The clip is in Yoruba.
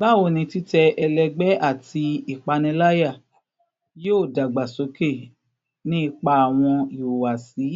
Bawo ni titẹ ẹlẹgbẹ ati ipanilaya yoo dagbasoke ni ipa awọn ihuwasi